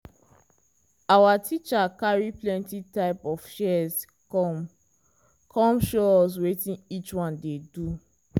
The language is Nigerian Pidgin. our teacher carry plenty type of shears come come show us wetin each one dey do.